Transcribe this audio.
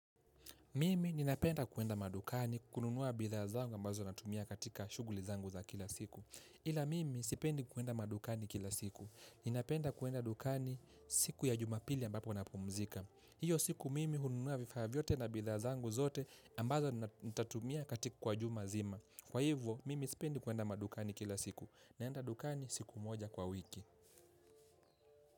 Mimi ninapenda kuenda madukani kununua bidhaa zangu ambazo natumia katika shughuli zangu za kila siku. Ila mimi sipendi kuenda madukani kila siku ninapenda kuenda dukani siku ya Jumapili ambapo napumzika. Hiyo siku mimi hununua vifaa vyote na bidhaa zangu zote ambazo nitatumia katika kwa juma zima. Kwa hivyo, mimi sipendi kuenda madukani kila siku. Naenda dukani siku moja kwa wiki.